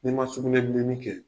N'i ma sugunɛbilenni kɛ